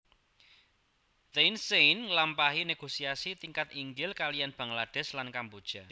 Thein Sein nglampahi négosiasi tingkat inggil kaliyan Bangladesh lan Kamboja